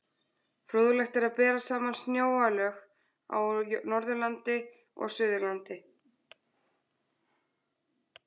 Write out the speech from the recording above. Fróðlegt er að bera saman snjóalög á Norðurlandi og Suðurlandi.